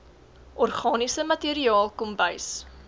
organiese materiaal kombuis